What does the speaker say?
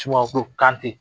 Sumaworo kante